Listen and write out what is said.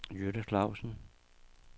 Jytte Clausen